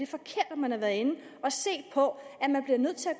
forkert at man har været inde at se på